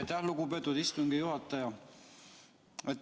Aitäh, lugupeetud istungi juhataja!